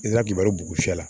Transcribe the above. I ka kibaruya